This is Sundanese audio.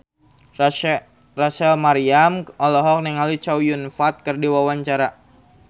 Rachel Maryam olohok ningali Chow Yun Fat keur diwawancara